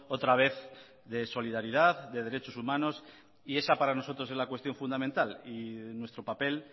otra vez de solidaridad de derechos humanos y esa para nosotros es la cuestión fundamental y nuestro papel